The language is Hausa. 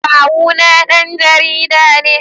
Kawuna dan jarida ne.